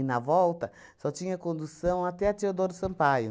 na volta, só tinha condução até a Teodoro Sampaio.